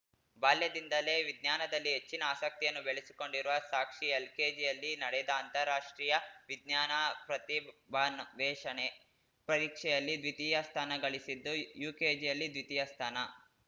ಬಾಲ್ಯದಿಂದಲೇ ವಿಜ್ಞಾನದಲ್ಲಿ ಹೆಚ್ಚಿನ ಆಸಕ್ತಿಯನ್ನು ಬೆಳೆಸಿಕೊಂಡಿರುವ ಸಾಕ್ಷಿ ಎಲ್‌ಕೆಜಿಯಲ್ಲಿ ನಡೆದ ಅಂತಾರಾಷ್ಟ್ರೀಯ ವಿಜ್ಞಾನ ಪ್ರತಿಭಾನ್ವೇಷಣೆ ಪರೀಕ್ಷೆಯಲ್ಲಿ ದ್ವಿತೀಯ ಸ್ಥಾನಗಳಿಸಿದ್ದು ಯುಕೆಜಿಯಲ್ಲಿ ದ್ವಿತೀಯ ಸ್ಥಾನ